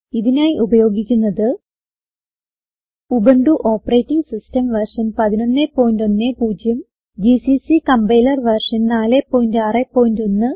ഇതിനായി ഉപയോഗിക്കുന്നത് Ubuntu operating system version 1110 GCC compiler version 461